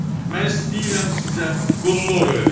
Mən istəyirəm sizə qulluq eləyim.